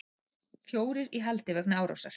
Fjórir í haldi vegna árásar